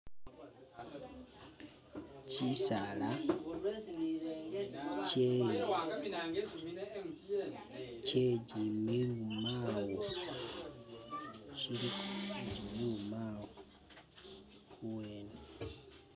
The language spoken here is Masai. Kyisala kye, kye gimilumawo kyiliko niji milumawo kuwene.